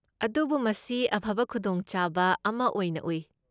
ꯑꯗꯨꯕꯨ ꯃꯁꯤ ꯑꯐꯕ ꯈꯨꯗꯣꯡꯆꯥꯕ ꯑꯃ ꯑꯣꯏꯅ ꯎꯏ꯫